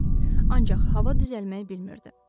Ancaq hava düzəlmək bilmirdi.